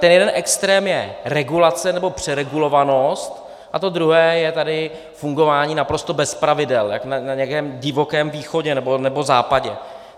Ten jeden extrém je regulace nebo přeregulovanost a to druhé je tady fungování naprosto bez pravidel jako na nějakém divokém východě nebo západě.